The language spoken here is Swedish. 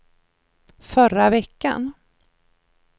förra veckan